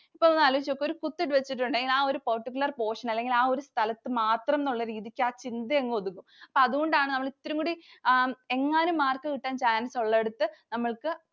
ഒന്നു ആലോചിച്ചിട്ടു നോക്കൂ. ഒരു കുത്തിട്ടുവെച്ചിട്ടുണ്ടെങ്കിൽ ആ ഒരു particular portion അല്ലെങ്കിൽ ആ ഒരു സ്ഥലത്തു മാത്രം എന്നുള്ള രീതിയിൽ ആ ചിന്ത അങ്ങ് ഒതുങ്ങും. അതുകൊണ്ടാണ് നമ്മൾ ഇത്തിരിംകൂടി എങ്ങാനും mark കിട്ടാൻ chance ഉള്ളയിടത്തു നമ്മൾക്ക്